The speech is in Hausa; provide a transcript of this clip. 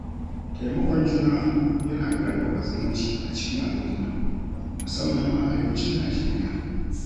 Taimakon juna yana ƙarfafa zumunci a cikin al’umma, musamman a Arewacin Najeriya.